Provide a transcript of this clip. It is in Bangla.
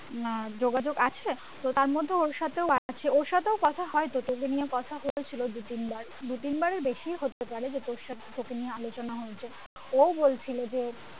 আহ যোগাযোগ আছে তো তার মধ্যে ওর সাথেও আছে ওর সাথেও কথা হয় যতদূর নিয়ে কথা হয়েছিলো দু তিনবার দু তিনবারের বেশিই হতে পারে যত ওর সাথে আমার আলোচনা হয়েছিলো ও বলছিলো যে